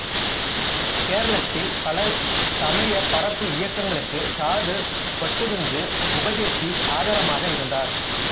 கேரளத்தில் பல சமய பரப்பு இயக்கங்களுக்கு சாது கொச்சுக்குஞ்சு உபதேசி ஆதாரமாக இருந்தார்